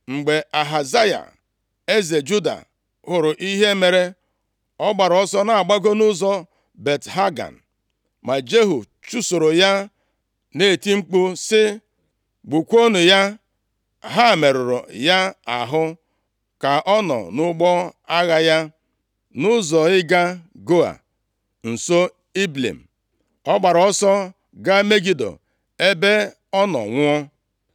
Mgbe Ahazaya eze Juda, hụrụ ihe mere, ọ gbaara ọsọ na-agbago nʼụzọ Bet Hagan. Ma Jehu chụsoro ya, na-eti mkpu sị, “Gbukwuonụ ya.” Ha merụrụ ya ahụ ka ọ nọ nʼụgbọ agha ya, nʼụzọ ịga Gua, nso Ibleam, ọ gbara ọsọ ga Megido ebe ọ nọ nwụọ.